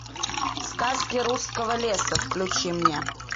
сказки русского леса включи мне